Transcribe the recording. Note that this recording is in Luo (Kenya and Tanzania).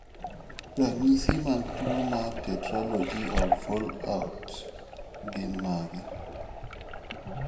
Ranyisi mag tuwo mar Tetralogy of Fallot gin mage?